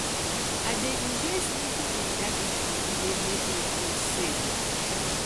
i dey enjoy sleeping in darkness e dey make me feel safe